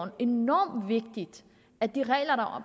enormt vigtigt at de regler der